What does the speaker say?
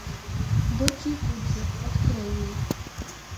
дочь якудзы открой мне